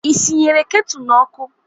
Ị sị nyere ketu n'ọkụ?